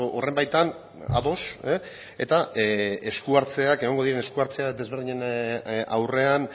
horren baitan ados eta esku hartzeak egongo diren esku hartzeak desberdinen aurrean